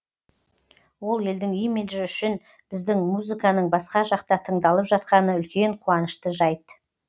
ол елдің имиджі үшін біздің музыканың басқа жақта тыңдалып жатқаны үлкен қуанышты жайт